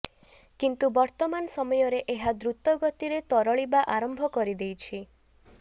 କିନ୍ତୁ ବର୍ତ୍ତମାନ ସମୟରେ ଏହା ଦ୍ରୁତ ଗତିରେ ତରଳିବା ଆରମ୍ଭ କରିଦେଇଛି